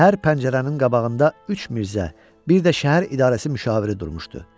Hər pəncərənin qabağında üç Mirzə, bir də şəhər idarəsi müşaviri durmuşdu.